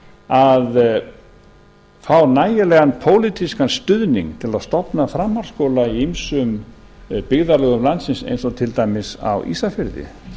að fá nægilegan pólitískan stuðning til að stofna framhaldsskóla í ýmsum byggðarlögum landsins eins og til dæmis á ísafirði